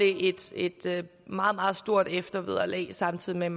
et meget meget stort eftervederlag samtidig med